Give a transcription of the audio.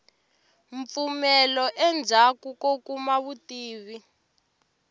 mpfumelo endzhaku ko kuma vutivi